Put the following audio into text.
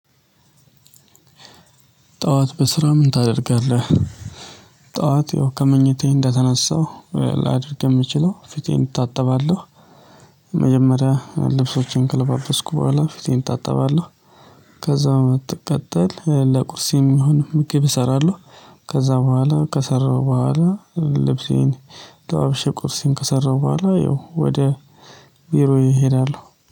ጠዋት በስራ ምን ታደርጋለህ? ጠዋት ያው ከምኝታየ እንደተነሳው ላድርግ የምችለው ፊቴን እታጠባለሁ። መጀመሪያ ልብሶችን ከለባበስስኩ በኋላ ፊቴን እታጠባለህ። ከዛ ትቀጠል ለቁርሴም ይሁን ምት ብሰራለሁ። ከዛ በኋላ ከሰራሁ በኋላ ልብሴን ለባብሼ ቁርሴን ከሰራሁ በኋላ ያው ወደ ቢሮዬ እሄዳለሁ።